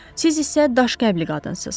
Siz isə daşqəlbli qadınsız.